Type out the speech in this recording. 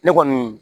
Ne kɔni